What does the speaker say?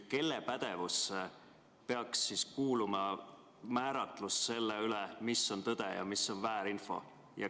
Kelle pädevusse peaks siis kuuluma selle määratlemine, mis on tõde ja mis on väärinfo?